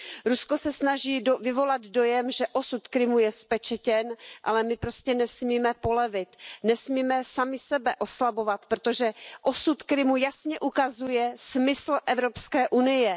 Rusko se snaží vyvolat dojem, že osud Krymu je zpečetěn, ale my prostě nesmíme polevit, nesmíme sami sebe oslabovat, protože osud Krymu jasně ukazuje smysl Evropské unie.